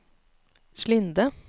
Slinde